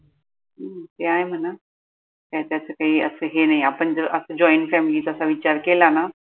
हम्म ते आहे म्हना त्याच काई असं हे नाई आपण जर joint family त असा विचार केला ना